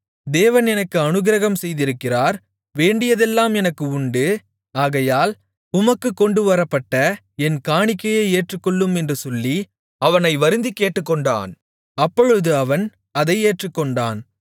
தேவன் எனக்கு அநுக்கிரகம் செய்திருக்கிறார் வேண்டியதெல்லாம் எனக்கு உண்டு ஆகையால் உமக்குக் கொண்டுவரப்பட்ட என் காணிக்கையை ஏற்றுக்கொள்ளும் என்று சொல்லி அவனை வருந்திக் கேட்டுக்கொண்டான் அப்பொழுது அவன் அதை ஏற்றுக்கொண்டான்